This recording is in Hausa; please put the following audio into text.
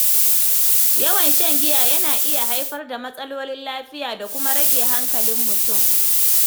Yawan shan giya yana iya haifar da matsalolin lafiya da kuma rage hankalin mutum.